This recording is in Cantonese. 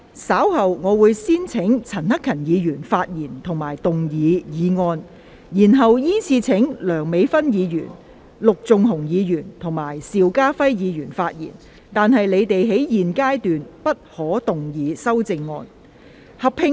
稍後我會先請陳克勤議員發言及動議議案，然後依次序請梁美芬議員、陸頌雄議員及邵家輝議員發言，但他們在現階段不可動議修正案。